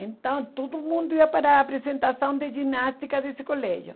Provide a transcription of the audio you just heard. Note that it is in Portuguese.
Então, todo mundo ia para a apresentação de ginástica desse colégio.